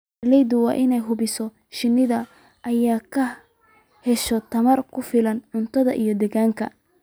Beeralayda waa inay hubiyaan in shinnidu ay ka hesho tamar ku filan cuntada iyo deegaanka.